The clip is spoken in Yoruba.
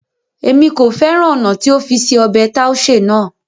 Émi ko fẹran ọna ti o fi se ọbẹ taushe naa